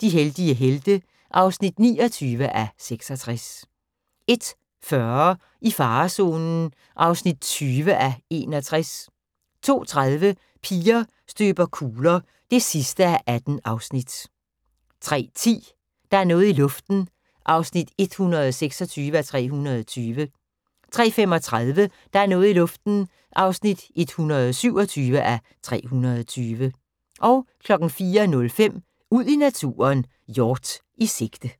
De heldige helte (29:66) 01:40: I farezonen (20:61) 02:30: Piger støber kugler (18:18) 03:10: Der er noget i luften (126:320) 03:35: Der er noget i luften (127:320) 04:05: Ud i naturen: Hjort i sigte